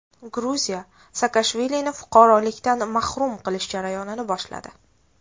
Gruziya Saakashvilini fuqarolikdan mahrum qilish jarayonini boshladi.